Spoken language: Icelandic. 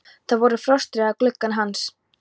Það voru frostrósir á glugganum hans.